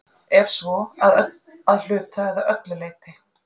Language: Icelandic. Ef svo, að hluta eða öllu leyti?